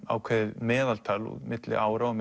ákveðið meðaltal milli ára og